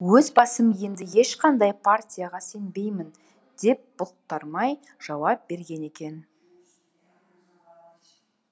өз басым енді ешқандай партияға сенбеймін деп бұлтармай жауап берген екен